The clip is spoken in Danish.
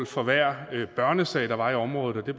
for hver børnesag der var i området og det